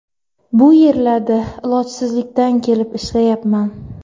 Bu yerlarda ilojsizlikdan kelib ishlayapman.